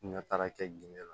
N ka taa kɛ ginde la